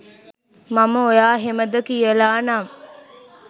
මම ඔයා එහෙමද කියලා නම්